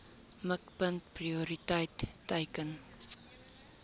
mikpunt prioriteit teiken